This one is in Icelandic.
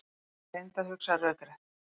Hann reyndi að hugsa rökrétt.